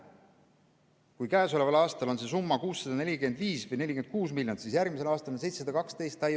Kui käesoleval aastal on see summa 645 või 646 miljonit, siis järgmisel aastal on see 712 miljonit.